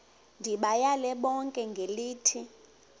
ndibayale bonke ngelithi